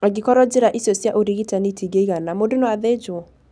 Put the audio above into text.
Angĩkorũo njĩra icio cia ũrigitani itiigana, mũndũ no athĩnjwo.